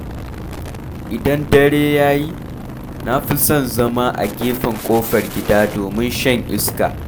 Idan dare ya yi, na fi son zama a gefen ƙofar gida domin shan iska.